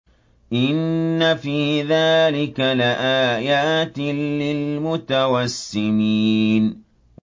إِنَّ فِي ذَٰلِكَ لَآيَاتٍ لِّلْمُتَوَسِّمِينَ